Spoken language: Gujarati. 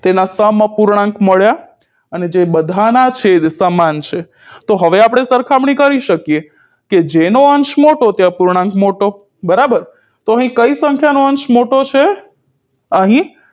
અહીં તેના સમઅપૂર્ણાંક મળ્યા અને જે બધાના છેદ સમાન છે તો હવે આપણે સરખામણી કરી શકીએ કે જેનો અંશ મોટો તે અપૂર્ણાંક મોટો બરાબર તો અહી કઈ સંખ્યાનો અંશ મોટો છે અહી